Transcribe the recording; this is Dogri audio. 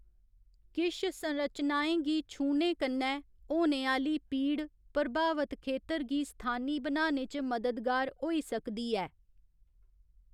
किश संरचनाएं गी छूह्ने कन्नै होने आह्‌ली पीड़ प्रभावत खेतर गी स्थानी बनाने च मददगार होई सकदी ऐ।